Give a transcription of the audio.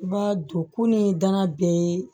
I b'a don ku ni dana bɛɛ ye